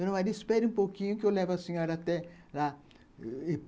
Então, ela disse, espere um pouquinho que eu levo a senhora até lá.